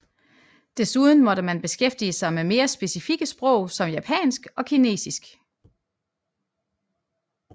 Desuden måtte man beskæftige sig med mere specifikke sprog som japansk og Kinesisk